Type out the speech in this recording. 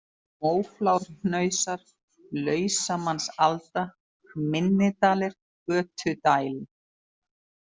Móflárhnausar, Lausamannsalda, Minni-Dalir, Götudæl